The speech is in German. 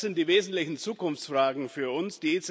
Das sind die wesentlichen Zukunftsfragen für uns.